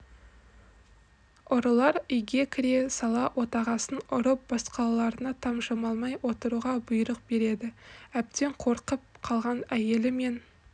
ұрылар үйге кіре сала отағасын ұрып басқаларына тапжылмай отыруға бұйрық береді әбден қорқып қалған әйелі мен